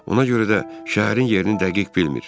Ona görə də şəhərin yerini dəqiq bilmir.